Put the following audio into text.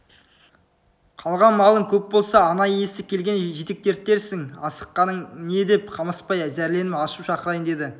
қалған малың көп болса ана иесі келгенде жетектертерсің асыққаның не деп қамысбай зәрленіп ашу шақырайын деді